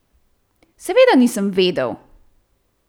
Seveda nisem vedel!